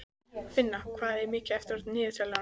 Finna, hvað er mikið eftir af niðurteljaranum?